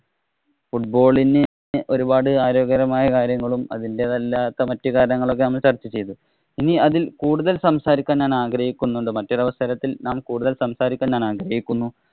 Football ഇന് ഒരുപാട് ആരോഗ്യകരമായ കാര്യങ്ങളും അതിന്‍റേതല്ലാത്ത മറ്റു കാര്യങ്ങളും ഒക്കെ നമ്മള് ചര്‍ച്ച ചെയ്തു. ഇനി അതില്‍ കൂടുതല്‍ സംസാരിക്കാന്‍ ഞാന്‍ ആഗ്രഹിക്കുന്നുണ്ട്. മറ്റൊരവസരത്തില്‍ ഞാന്‍ കൂടുതല്‍ സംസാരിക്കാന്‍ ആഗ്രഹിക്കുന്നു.